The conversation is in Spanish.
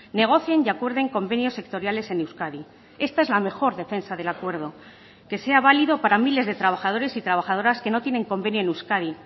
negocien y acuerden convenios sectoriales en euskadi esta es la mejor defensa del acuerdo que sea válido para miles de trabajadores y trabajadoras que no tienen convenio en euskadi